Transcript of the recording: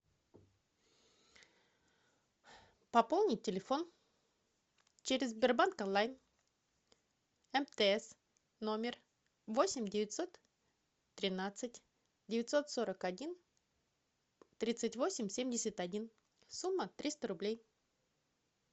пополнить телефон через сбербанк онлайн мтс номер восемь девятьсот тринадцать девятьсот сорок один тридцать восемь семьдесят один сумма триста рублей